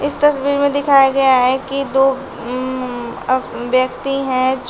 इस तस्वीर में दिखाया गया है कि दो अम व्यक्ति हैं जो--